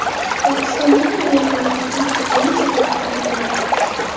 Pokistondagi aviahalokatning taxminiy sabablari aytildi.